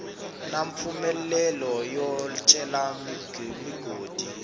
na mpfumelelo yo cela migodi